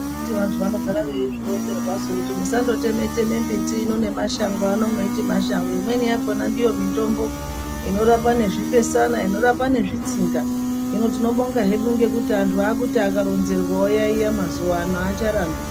Anditi vantu vanogara veizvironzerwasu kuti musandoteme teme mbiti ino nemashango ano mweiti mashango amweni yakona ndiyo mitombo inorapa nezvifesana inorapa nezvitsinga hino tinobonga hedu ngekuti antu akuti akaronzerwa iyaiya mazuwano aacharambi.